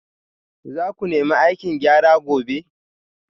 Za ku nemi aikin gyara gobe